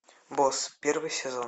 босс первый сезон